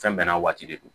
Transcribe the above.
Fɛn bɛɛ n'a waati de don